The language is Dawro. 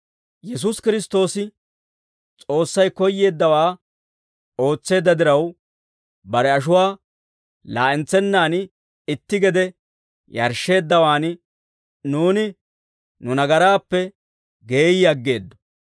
Yesuusi Kiristtoosi S'oossay koyyeeddawaa ootseedda diraw, bare ashuwaa laa'entsennaan itti gede yarshsheeddawaan nuuni nu nagaraappe geeyyi aggeeddo.